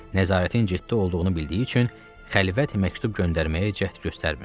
Nəzarətin ciddi olduğunu bildiyi üçün xəlvət məktub göndərməyə cəhd göstərmirdi.